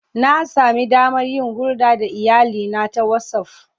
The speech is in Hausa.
Na sami damar yin hulɗa da iyalina ta WhatsAff.